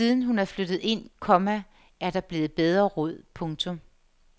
Siden hun er flyttet ind, komma er der blevet bedre råd. punktum